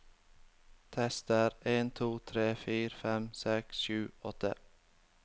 Tester en to tre fire fem seks sju åtte